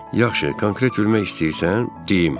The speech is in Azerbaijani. Yaxşı, konkret bilmək istəyirsən, deyim.